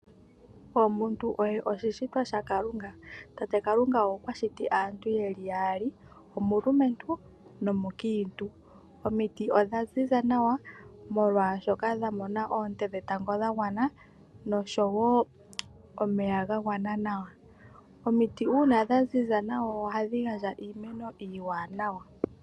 Omuntu oye oshishitwa shakalunga, tate Kalunga okwashiti aantu yeli yaali omulumentu nomukiintu .omiti odhaziza nawa molwaashoka dhamona oonte dhetango dhagwana noshowo omeya gagwana nawa .omiti uuna dhaziza nawa ohadhi gandja iimeno iiwaanawa .